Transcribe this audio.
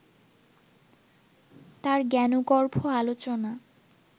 তার জ্ঞানগর্ভ আলোচনা